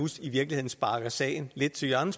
i virkeligheden sparker sagen lidt til hjørne